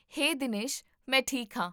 ਹੇ ਦਿਨੇਸ਼! ਮੈਂ ਠੀਕ ਹਾਂ